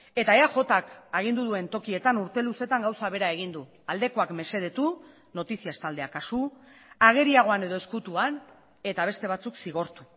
eta eajk agindu duen tokietan urte luzeetan gauza bera egin du aldekoak mesedetu noticias taldea kasu ageriagoan edo ezkutuan eta beste batzuk zigortu